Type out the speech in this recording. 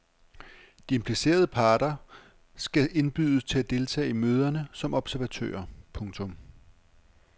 De implicerede parter skal indbydes til at deltage i møderne som observatører. punktum